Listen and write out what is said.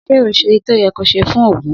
Sẹ ó sẹ ìtọ yẹ kọ sẹ fún ògún